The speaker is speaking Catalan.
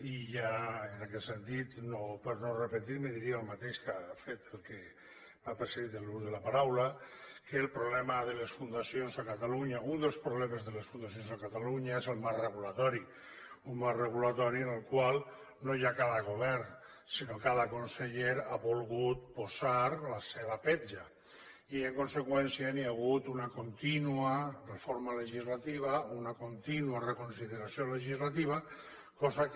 i ja en aquest sentit per no repetir me diria el mateix que ha fet el que m’ha precedit en l’ús de la paraula que el problema de les fundacions a catalunya un dels problemes de les fundacions a catalunya és el marc regulador un marc regulador en el qual no ja cada govern sinó cada conseller ha volgut posar la seva petja i en conseqüència hi ha hagut una contínua reforma legislativa una contínua reconsideració legislativa cosa que